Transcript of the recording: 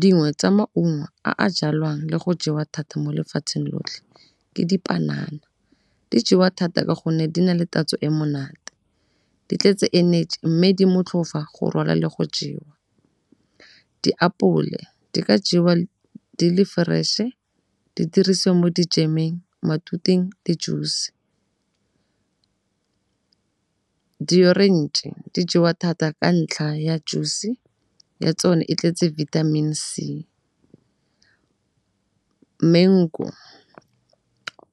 Dingwe tsa maungo a a jalwang le go jewa thata mo lefatsheng lotlhe ke dipanana. Di jewa thata ka gonne di na le tatso e monate, di tletse energy mme di motlhofa go rwala le go jewa. Diapole di ka jewa di le fresh-e di dirisiwa mo di-jam-eng, matuteng le juice. Di-orange di jewa thata ka ntlha ya juice ya tsona e tletse vitamin-i C. Mengu